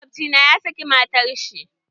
Makwabci na ya saki matar shi.